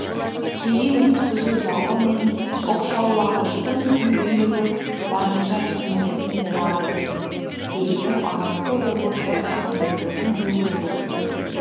кейін өткізу залы мен оқшаулағыштың мүмкіндігі барынша кеңейетін болады дейді алматы облыстық әкімдігінің өкілдері